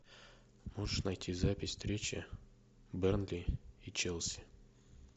можешь найти запись встречи бернли и челси